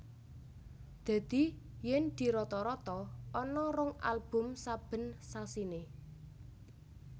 Dadi yen dirata rata ana rong album saben sasiné